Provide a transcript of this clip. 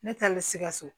Ne taalen sikaso